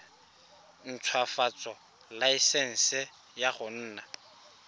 ntshwafatsa laesense ya go nna